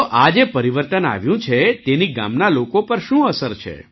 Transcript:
તો આ જે પરિવર્તન આવ્યું છે તેની ગામના લોકો પર શું અસર છે